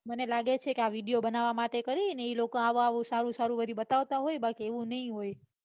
મને લાગે છે કે આ video બનાવા માટે કરીને એ લોકો આવું આવું સારું સારું બતાવતા હોય બાકી તો એવું નઈ હોય